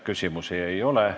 Küsimusi ei ole.